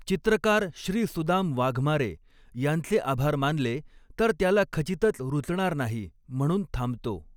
चित्रकार श्री सुदाम वाघमारे यांचे आभार मानले तर त्याला खचितच रुचणार नाही म्हणून थांबतो